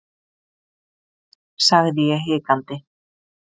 sagði ég hikandi.